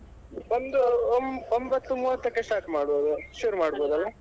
ಒಂದು ಒಂಬತ್ತು ಮೂವತ್ತಕ್ಕೆ start ಮಾಡ್ಬೋದು ಶುರು ಮಾಡ್ಬೋದಲ್ಲ.